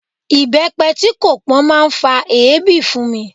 Ibepe tí kò pọn máa ń fa èébì fún mi.